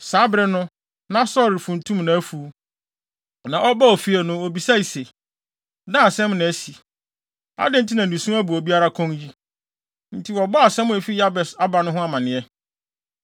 Saa bere no, na Saulo refuntum nʼafuw. Na ɔbaa fie no, obisae se, “Dɛn asɛm na asi? Adɛn nti na nusu abu obiara kɔn yi?” Enti wɔbɔɔ asɛm a efi Yabes aba no ho amanneɛ.